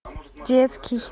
детский